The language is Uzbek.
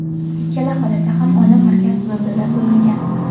Ikkala holatda ham olim markaz hududida bo‘lmagan.